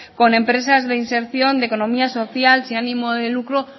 con empresas de inserción de economía social sin ánimo de lucro